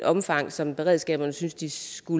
omfang som beredskaberne synes de skal